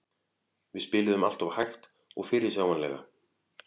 Við spiluðum alltof hægt og fyrirsjáanlega.